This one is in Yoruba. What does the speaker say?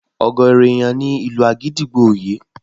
Ọ̀gọ̀ọ̀rọ̀ ènìyàn ni ìlù àgídìgbo ò yé